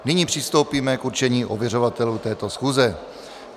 Nyní přistoupíme k určení ověřovatelů této schůze.